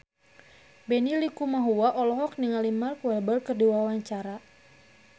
Benny Likumahua olohok ningali Mark Walberg keur diwawancara